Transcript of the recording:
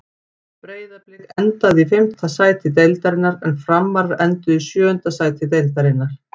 Breiðablik endaði í fimmta sæti deildarinnar en Framarar enduðu í sjöunda sæti deildarinnar.